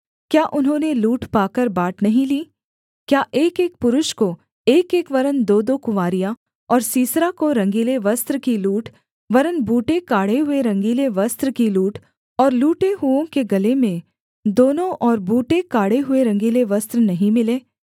क्या उन्होंने लूट पाकर बाँट नहीं ली क्या एकएक पुरुष को एकएक वरन् दोदो कुँवारियाँ और सीसरा को रंगीले वस्त्र की लूट वरन् बूटे काढ़े हुए रंगीले वस्त्र की लूट और लूटे हुओं के गले में दोनों ओर बूटे काढ़े हुए रंगीले वस्त्र नहीं मिले